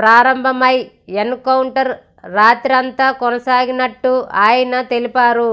ప్రారంభమైన ఎన్కౌంటర్ రాత్రంతా కొనసాగినట్టు ఆయన తెలిపారు